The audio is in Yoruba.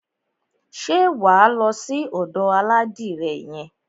Ṣé wà á lọ sí ọ̀dò aládìrẹ yẹn?